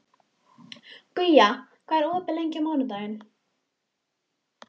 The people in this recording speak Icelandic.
Guja, hvað er opið lengi á mánudaginn?